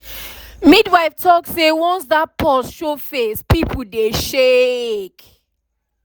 midwife talk say once that pause show face people dey shake.